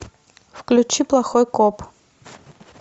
включи плохой коп